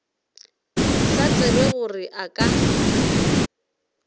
sa tsebe gore a ka